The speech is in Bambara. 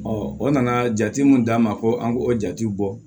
o nana jate mun d'an ma ko an k'o jatew bɔ